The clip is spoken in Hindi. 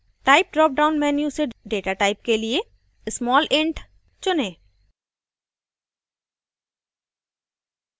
type dropdown menu से data type के लिए smallint चुनें